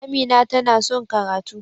Amina ta na son karatu.